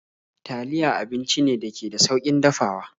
Taliya abinci ne dake da saukin dafawa